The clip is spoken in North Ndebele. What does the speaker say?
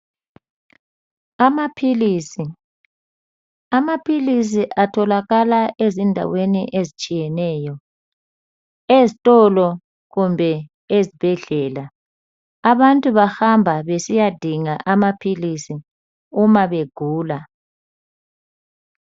Amaphilisi atholakala ezindaweni ezitshiyeneyo, ezitolo kumbe ezibhedlela. Abantu bahamba besiyadinga amaphilisi uma begula.